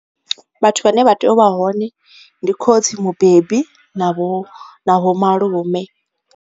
Vhathu vhane vha tea u vha hone ndi khotsi mubebi na vho na vho malume.